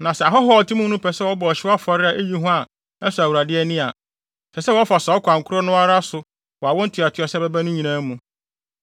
Na sɛ ahɔho a wɔte mo mu no pɛ sɛ wɔbɔ ɔhyew afɔre ma eyi hua a ɛsɔ Awurade ani a, ɛsɛ sɛ wɔfa saa ɔkwan koro no ara so wɔ awo ntoatoaso a ɛbɛba no nyinaa mu.